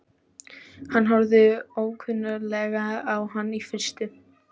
Hann horfir ókunnuglega á hann í fyrstu.